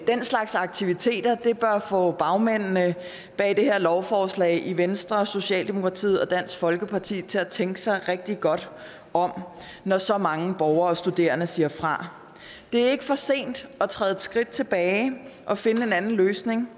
den slags aktiviteter bør få bagmændene bag det her lovforslag i venstre socialdemokratiet og dansk folkeparti til at tænke sig rigtig godt om når så mange borgere og studerende siger fra det er ikke for sent at træde et skridt tilbage og finde en anden løsning